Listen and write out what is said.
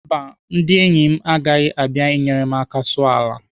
Mba, ndị enyi agaghị abịa enyere m aka sụọ ala.